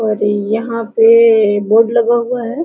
और यहां पे बोर्ड लगा हुआ हैं।